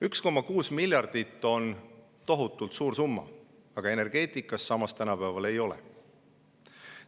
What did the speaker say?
1,6 miljardit on tohutult suur summa, aga samas energeetikas tänapäeval ei ole.